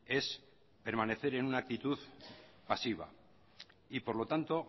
es permanecer en una actitud pasiva y por lo tanto